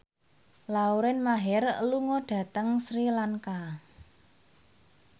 Lauren Maher lunga dhateng Sri Lanka